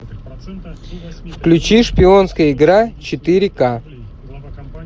включи шпионская игра четыре ка